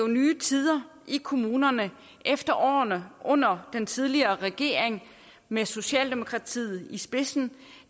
nye tider i kommunerne efter årene under den tidligere regering med socialdemokratiet i spidsen